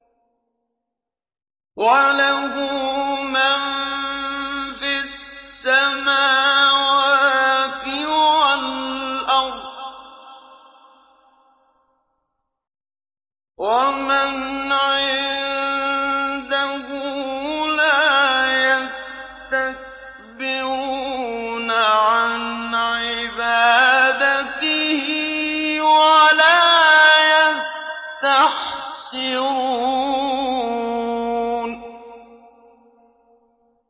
وَلَهُ مَن فِي السَّمَاوَاتِ وَالْأَرْضِ ۚ وَمَنْ عِندَهُ لَا يَسْتَكْبِرُونَ عَنْ عِبَادَتِهِ وَلَا يَسْتَحْسِرُونَ